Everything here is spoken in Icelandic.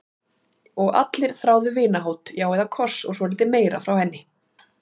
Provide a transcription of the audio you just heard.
Og allir þráðu vinahót, já eða koss og svolítið meira, frá henni.